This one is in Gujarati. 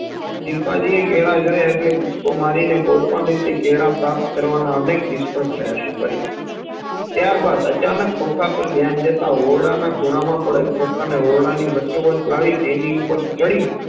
ચિમ્પાન્જીએ કેળા જોયા એટલે કૂદકો મારીને કોઈપણ રીતે કેળા પ્રાપ્ત કરવાના અનેક નિષ્ફ્ળ પ્રયાશો કાર્ય ત્યારબાદ અચાનક ખોખા પાર ધ્યાન જતા ઓરડા ના ખોણામાં પડેલ ખોખાને ઓરડાની વચોવચ લાવી તેની ઉપર ચડી